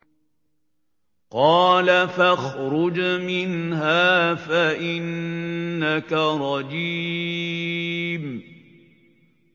قَالَ فَاخْرُجْ مِنْهَا فَإِنَّكَ رَجِيمٌ